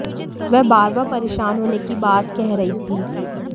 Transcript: वह बार बार परेशान होने की बात कह रही थी